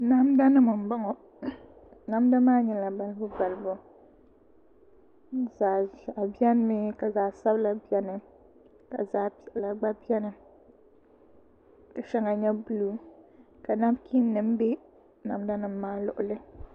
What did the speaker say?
Namda nim n bɔŋɔ namda nim maa nyɛla balibu balibu zaɣ ʒiɛhi biɛni mi ka zaɣ sabila biɛni ka zaɣ piɛla gba biɛni ka shɛŋa nyɛ buluu ka nabkiin nim bɛ namda nim maa luɣuli